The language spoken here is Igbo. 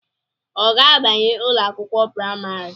Ọ ga-abanye ụlọakwụkwọ praịmarị?